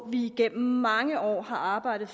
vi igennem mange år har arbejdet